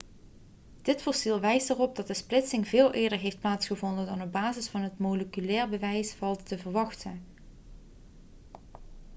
dit fossiel wijst erop dat de splitsing veel eerder heeft plaatsgevonden dan op basis van het moleculaire bewijs valt te verwachten